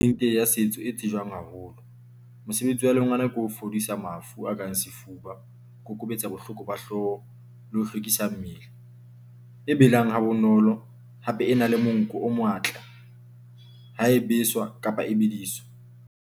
Ya a setso e tsejwang haholo, mosebetsi wa lengana ke ho fodisa mafu a kang sefuba, kokobetsa bohloko ba hlooho le ho hlwekisa mmele e belang ha bonolo. Hape e na le monko o matla ha e beswa kapa e bediswa.